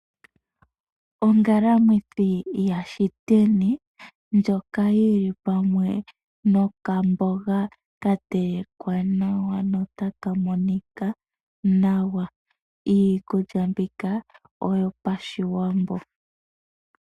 Ongalamwithi yaShiteni ndjoka yi li pamwe nokamboga ka telekwa nawa notaka monika nawa. Iikulya mbika oyipaShiwambo.